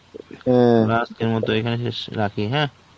আজকের মতো এখানে শেষ~ রাখি হ্যাঁ.